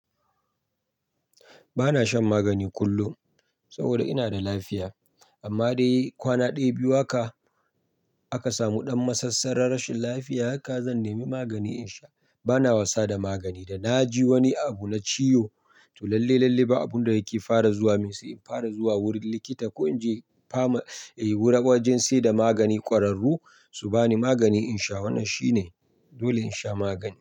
Ba na shan magani kullum saboda ina da lafiya. Amma dai kwana ɗaya, biyu haka aka samu ɗan masassarar rashin lafiya haka zan nemi magani in sha. Ba na wasa da magani. Da na ji wani abu na ciwo, to lalle, lalle ba abun da yake fara zuwa min sai in fara zuwa wurin likita ko in je fama eh wajen sai da magani ƙwararru su ba ni magani in sha. Wannan shine dole in sha magani.